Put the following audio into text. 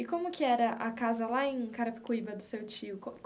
E como que era a casa lá em Carapicuíba do seu tio?